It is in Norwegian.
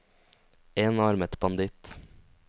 enarmet banditt